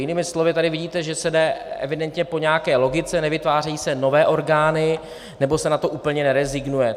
Jinými slovy, tady vidíte, že se jde evidentně po nějaké logice, nevytvářejí se nové orgány nebo se na to úplně nerezignuje.